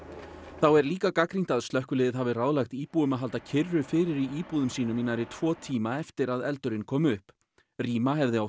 þá er líka gagnrýnt að slökkviliðið hafi ráðlagt íbúum að halda kyrru fyrir í íbúðum sínum í nærri tvo tíma eftir að eldurinn kom upp rýma hefði átt